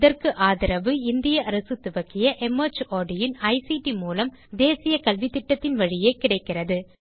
இதற்கு ஆதரவு இந்திய அரசு துவக்கிய மார்ட் இன் ஐசிடி மூலம் தேசிய கல்வித்திட்டத்தின் வழியே கிடைக்கிறது